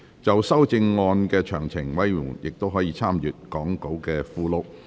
就修正案詳情，委員可參閱講稿附錄。